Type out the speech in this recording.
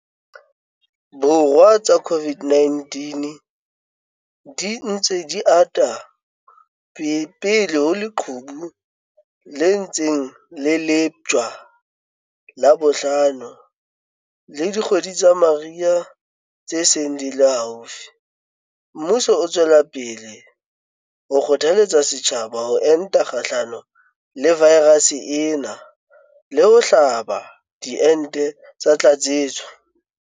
Borwa tsa COVID-19 di ntse di ata pele ho leqhubu le ntseng le leptjwa la bohlano le dikgwedi tsa mariha tse seng di le haufi, mmuso o tswela pele ho kgothaletsa setjhaba ho enta kgahlano le vaerase ena le ho hlaba diente tsa tlatsetso.